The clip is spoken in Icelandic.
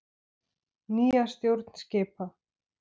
Nýja stjórn skipa.